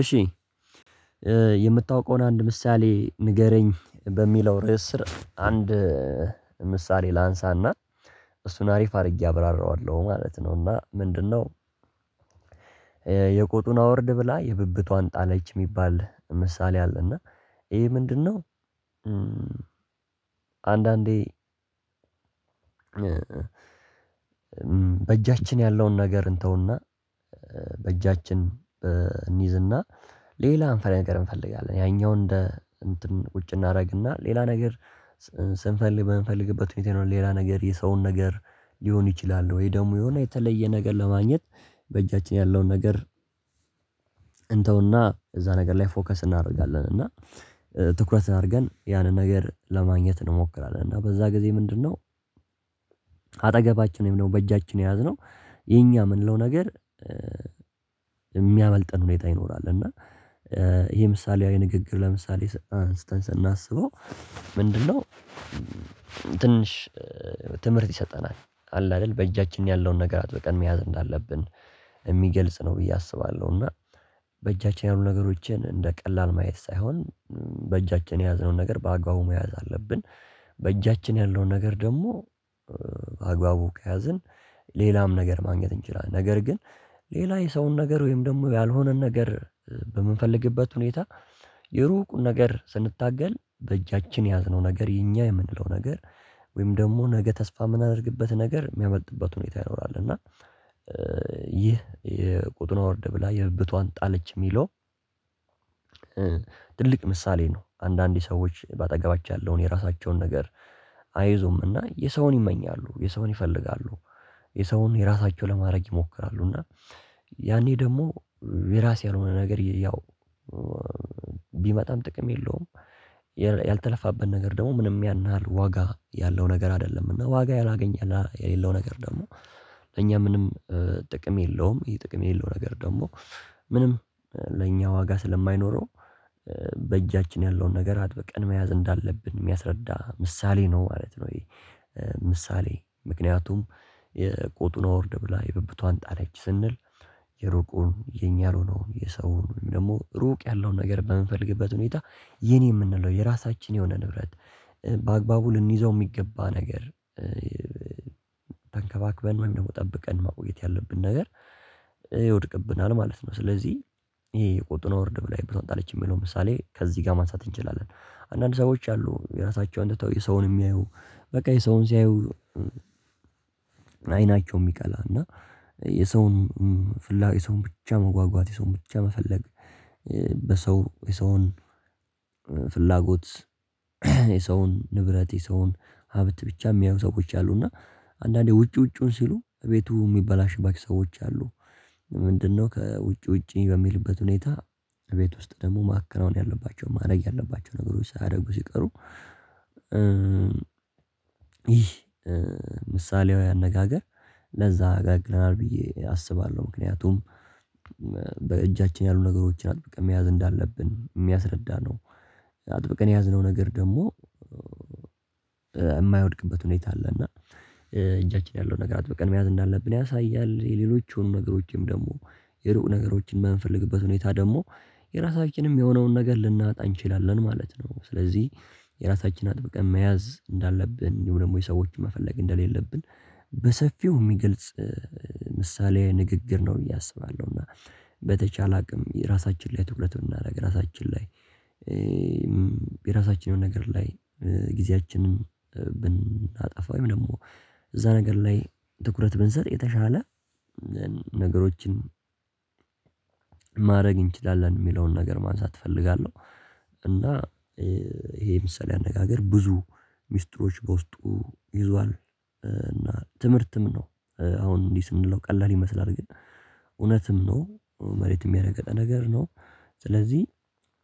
እሺ የምታውቀውን አንድ ምሳሌ ንገረኝ በሚለው ርዕስ ስር አንድ ምሳሌ ላንሳና እሱን አሪፍ አድርጌ አብራራዋለሁ ማለት ነው። እና ምንድነው? የቆጡን አወርድ ብላ የብብቷን ጣለች የሚባል ምሳሌ አለ። እና ይሄ ምንድነው? አንዳንዴ በእጃችን ያለውን ነገር እንተውና በእጃችን እንይዝና ሌላ አንፈራዊ ነገር እንፈልጋለን። ያኛው እንደ እንትን ቁጭ እናደርግና ሌላ ነገር ስንፈልግ በምንፈልግበት ሁኔታ የሌላ ነገር የሰውን ነገር ሊሆን ይችላል። ወይ ደግሞ የሆነ የተለየ ነገር ለማግኘት በእጃችን ያለውን ነገር እንተውና እዛ ነገር ላይ ፎከስ እናደርጋለን እና ትኩረት አድርገን ያንን ነገር ለማግኘት እንሞክራለን። እና በዛ ጊዜ ምንድነው አጠገባችን ወይም ደግሞ በእጃችን የያዝነው የኛ የምንለው ነገር የሚያመልጠን ሁኔታ ይኖራል። እና ይሄ ምሳሌያዊ ንግግር ለምሳሌ ስናስበው ምንድነው ትንሽ ትምህርት ይሰጠናል አለ አይደል በእጃችን ያለውን ነገር አጥብቀን መያዝ እንዳለብን የሚገልጽ ነው ብዬ አስባለሁ። እና በእጃችን ያሉ ነገሮችን እንደ ቀላል ማየት ሳይሆን በእጃችን የያዝነውን ነገር በአግባቡ መያዝ አለብን። በእጃችን ያለውን ነገር ደግሞ በአግባቡ ከያዝን ሌላም ነገር ማግኘት እንችላለን። ነገር ግን ሌላ የሰውን ነገር ወይም ደግሞ ያልሆነን ነገር በምንፈልግበት ሁኔታ የሩቁን ነገር ስንታገል በእጃችን የያዝነው ነገር የኛ የምንለው ነገር ወይም ደግሞ ነገ ተስፋ የምናደርግበት ነገር የሚያመልጥበት ሁኔታ ይኖራል። እና ይህ የቄጡን አወርድ ብላ የብብቷን ጣለች የሚለው ትልቅ ምሳሌ ነው። አንዳንድ ሰዎች በአጠገባቸው ያለውን የራሳቸውን ነገር አይዙምና የሰውን ይመኛሉ የሰውን ይፈልጋሉ የሰውን የራሳቸውን ለማድረግ ይሞክራሉ። እና ያኔ ደግሞ የራሴ ያልሆነ ነገር ያው ቢመጣም ጥቅም የለውም። ያልተለፋበት ነገር ደግሞ ምንም ያን ያህል ዋጋ ያለው ነገር አይደለም። እና ዋጋ ያላገኘና የሌለው ነገር ደግሞ እኛ ምንም ጥቅም የለውም ይሄ ጥቅም የሌለው ነገር ደግሞ ምንም ለእኛ ዋጋ ስለማይኖረው በእጃችን ያለውን ነገር አጥብቀን መያዝ እንዳለብን የሚያስረዳ ምሳሌ ነው ማለት ነው። ይሄ ምሳሌ ምክንያቱም የቄጡን አወርድ ብላ የብብቷን ጣለች ስንል የሩቁን የኛ ያልሆነውን የሰውን ደግሞ ሩቅ ያለውን ነገር በምንፈልግበት ሁኔታ የኔ የምንለው የራሳችን የሆነ ንብረት በአግባቡ ልንይዘው የሚገባ ነገር ተንከባክበን ምን ደግሞ ጠብቀን ማቆየት ያለብን ነገር ይወድቅብናል ማለት ነው። ስለዚህ ይሄ የቆጡን አወርድ ብላ የብብቷን ጣለች የሚለው ምሳሌ ከዚህ ጋር ማንሳት እንችላለን አንዳንድ ሰዎች አሉ። የራሳቸውን ትተው የሰውን የሚያዩ በቃ የሰውን ሲያዩ አይናቸውም ይቀላል እና የሰውን ፍላጎት የሰውን ብቻ መጓጓት የሰውን ብቻ መፈለግ በሰው የሰውን ፍላጎት የሰውን ንብረት የሰውን ሀብት ብቻ የሚያዩ ሰዎች አሉ። እና አንዳንዴ ውጪ ውጪውን ሲሉ ቤቱ የሚበላሽባቸው ሰዎች አሉ ምንድነው ከውጪ ውጪ በሚልበት ሁኔታ ቤት ውስጥ ደግሞ ማከናወን ያለባቸው ማድረግ ያለባቸው ነገሮች ሳያደርጉ ሲቀሩ ይህ ምሳሌያዊ አነጋገር ለዛ ያገለግለናል። ብዬ አስባለሁ ምክንያቱም በእጃችን ያሉ ነገሮችን አጥብቀን መያዝ እንዳለብን የሚያስረዳ ነው አጥብቀን የያዝነው ነገር ደግሞ የማይወድቅበት ሁኔታ አለ። እና እጃችን ያለው ነገር አጥብቀን መያዝ እንዳለብን ያሳያል የሌሎች የሆኑ ነገሮችንም ደግሞ የሩቅ ነገሮችን የምንፈልግበት ሁኔታ ደግሞ የራሳችንም የሆነውን ነገር ልናጣ እንችላለን ማለት ነው። ስለዚህ የራሳችን አጥብቀን መያዝ እንዳለብን እንዲሁ ደግሞ የሰዎችን መፈለግ እንደሌለብን በሰፊው የሚገልጽ ምሳሌ ንግግር ነው። ብዬ አስባለሁና በተቻለ አቅም የራሳችን ነገር ላይ ጊዜያችንን ብናጠፋ ወይም ደግኔሞ እዚያ ነገር ላይ ትኩረት ብንሰጥ የተሻለ ነገሮችን ማድረግ እንችላለን የሚለውን ነገር ማንሳት እፈልጋለሁ። እና ይሄ ምሳሌ አነጋገር ብዙ ምስጥሮች በውስጡ ይዟል። እና ትምህርትም ነው። አሁን እንዲህ ስንለው ቀላል ይመስላል ግን እውነትም ነው መሬትም የሚያደርግ ነገር ነው። ስለዚህ